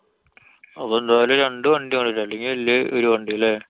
അപ്പൊ എന്തായാലും രണ്ടു വണ്ടി അല്ലെങ്കി വല്യേ ഒരു വണ്ടി അല്ലേ?